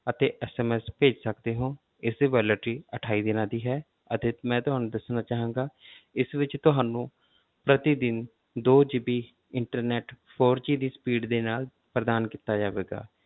ਅਤੇ SMS ਭੇਜ ਸਕਦੇ ਹੋ, ਇਸਦੀ validity ਅਠਾਈ ਦਿਨਾਂ ਦੀ ਹੈ ਅਤੇ ਮੈਂ ਤੁਹਾਨੂੰ ਦੱਸਣਾ ਚਾਹਾਂਗਾ ਇਸ ਵਿੱਚ ਤੁਹਾਨੂੰ ਪ੍ਰਤੀਦਿਨ ਦੋ GB internet four G ਦੀ speed ਦੇ ਨਾਲ ਪ੍ਰਦਾਨ ਕੀਤਾ ਜਾਵੇਗਾ।